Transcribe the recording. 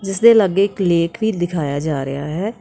ਇਸ ਦੇ ਲਾਗੇ ਇੱਕ ਲੇਕ ਵੀ ਦਿਖਾਇਆ ਜਾ ਰਿਹਾ ਹੈ।